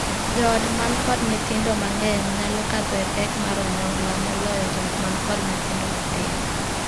Joot man kod nyithindo mang'eny nyalo kadho e pek mar onyongla moloyo joot man kod nyithindo matin.